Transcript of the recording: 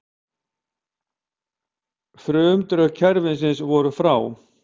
Frumdrög kerfisins voru frá